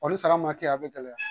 ni sara ma kɛ a bɛ gɛlɛya.